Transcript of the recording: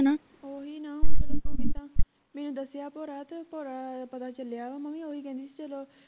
ਓਹੀ ਨਾ ਮੈਨੂੰ ਦਸਿਆ ਅੱਬੂ ਰਾਤ ਪਤਾ ਚਲਿਆ ਮੈਂ ਵੀ ਓਹੀ ਕਹਿੰਦੀ ਸੀ ਚਲੋ